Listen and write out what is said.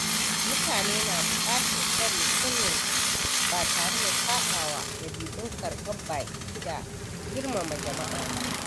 Mutane na bukatar tsare sirrinsu ba tare da saɓawa dabi’un karɓar baƙi da girmama jama’a ba.